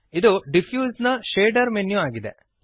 ಇದು ಡಿಫ್ಯೂಸ್ ನ shader menu ಆಗಿದೆ